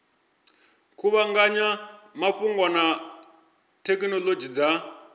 kuvhanganya mafhungo na thekhinolodzhi dza